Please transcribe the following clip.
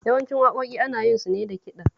Yawancin waƙoƙi ana yin su ne da kiɗa